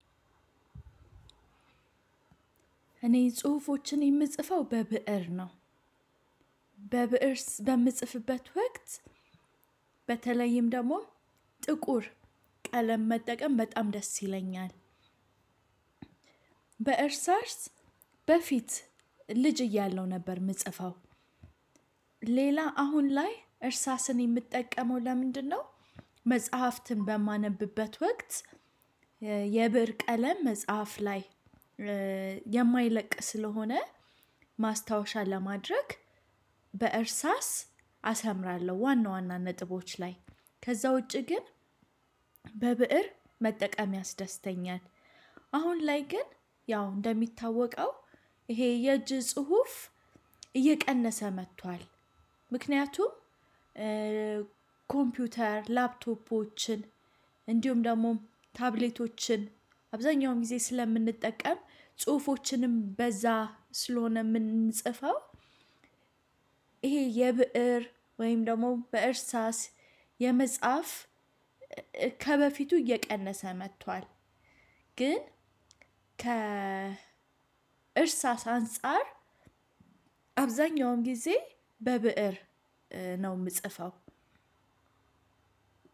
እኔ ጽሁፎችን የምጽፈው በብእር ነው። በብእር በምጽፍበት ወቅት በተለይም ደግሞ ጥቁር ቀለም መጠቀም በጣም ደስ ይለኛል። በእርሳስ በፊት ልጅ እያለው ነበር የምጽፈው። ሌላ አሁን ላይ እርሳስን የምጠቀመው ለምንድነው? መጽሐፍትን በማነብበት ወቅት የብር ቀለም መጽሐፍ ላይ የማይለቅ ስለሆነ ማስታወሻ ለማድረግ በእርሳስ አሰምራለሁ። ዋና ዋና ነጥቦች ላይ ከዛ ውጪ ግን በብእር መጠቀም ያስደስተኛል። አሁን ላይ ግን ያው እንደሚታወቀው ይሄ የእጅ ጽሁፍ እየቀነሰ መጥቷል። ምክንያቱም ኮምፒውተር ላፕቶፖችን እንዲሁም ደግሞ ታብሌቶችን አብዛኛውን ጊዜ ስለምንጠቀም ጽሁፎችንም በዛ ስለሆነ የምንጽፈው። ይሄ የብእር ወይም ደግሞ በእርሳስ የመጽሐፍ ከበፊቱ እየቀነሰ መጥቷል። ግን ከእርሳስ አንፃር አብዛኛውም ጊዜ በብእር ነው የምጽፈው።